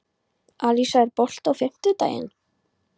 Alisa, er bolti á fimmtudaginn?